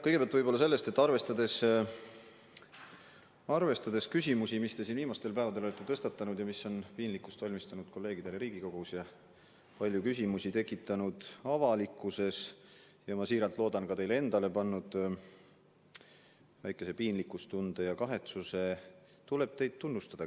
Kõigepealt ma märgin, et arvestades küsimusi, mis te siin viimastel päevadel olete tõstatanud ja mis on piinlikkust valmistanud kolleegidele Riigikogus ja tekitanud palju küsimusi ka avalikkuses ja mis, ma väga loodan, on ka teid kahetsema ja veidi piinlikkust pannud tundma, tuleb nüüd teid tunnustada.